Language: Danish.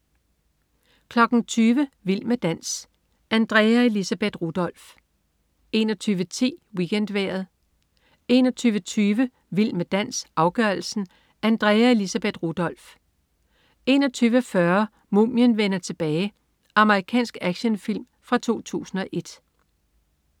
20.00 Vild med dans. Andrea Elisabeth Rudolph 21.10 WeekendVejret 21.20 Vild med dans, afgørelsen. Andrea Elisabeth Rudolph 21.40 Mumien vender tilbage. Amerikansk actionfilm fra 2001